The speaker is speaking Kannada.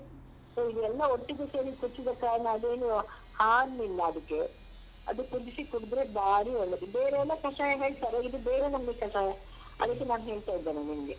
So ಇದೆಲ್ಲ ಒಟ್ಟಿಗೆ ಸೇರಿ ಕುದ್ಸಿದ ಕಾರಣ ಅದೇನೂ harm ಇಲ್ಲ ಅದಿಕ್ಕೆ ಅದು ಕುದಿಸಿ ಕುಡ್ದ್ರೆ ಬಾರಿ ಒಳ್ಳೇದು ಬೇರೆಲ್ಲ ಕಷಾಯ ಹೇಳ್ತಾರೆ ಇದು ಬೇರೆ ನಮ್ನಿ ಕಷಾಯ ಅದಕ್ಕೆ ನಾನ್ ಹೇಳ್ತಾ ಇದ್ದೇನೆ ನಿಮ್ಗೆ.